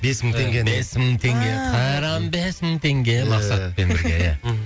бес мың теңге бес мың теңге ааа қайран бес мың теңге иә мақсатовпен берге мхм